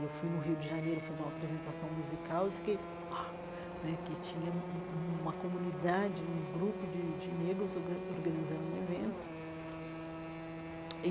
Eu fui no Rio de Janeiro fazer uma apresentação musical e fiquei... né que tinha um um uma comunidade, um grupo de de negros orga organizando um evento.